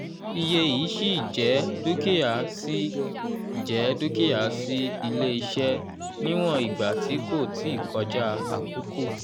iye yìí ṣíì jẹ́ dúkìá ṣíì jẹ́ dúkìá sí ilé-iṣẹ́ níwọ̀n ìgbà tí kò tíì kọjá àkókò